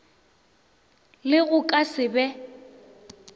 le go ka se be